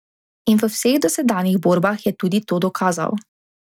In v vseh dosedanjih borbah je tudi to dokazal.